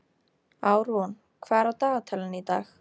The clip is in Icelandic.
Árún, hvað er á dagatalinu í dag?